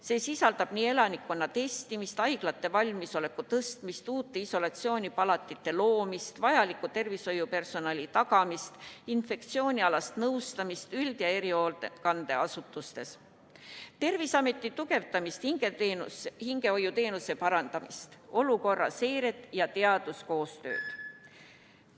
See hõlmab nii elanikkonna testimist, haiglate valmisoleku tõstmist, uute isolatsioonipalatite loomist, vajaliku tervishoiupersonali tagamist, infektsioonialast nõustamist üld- ja erihoolekande asutustes, Terviseameti tugevdamist, hingehoiuteenuse parandamist, olukorra seiret ja teaduskoostööd.